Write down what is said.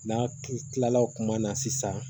N'a ki kila la kuma na sisan